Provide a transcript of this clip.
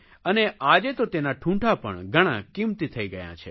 અને આજે તો તેનાં ઠૂંઠા પણ ઘણાં કિંમતી થઇ ગયા છે